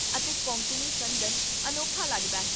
ਅਤੇ ਕੋਂਕਣੀ ਸੰਦਨ ਅਨੋਖਾ ਲੱਗਦਾ ਹੈ